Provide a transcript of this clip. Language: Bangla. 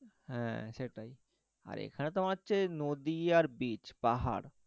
হ্যাঁ সেটাই আর এখানে তো তোমার হচ্ছে নদী আর beach পাহাড়,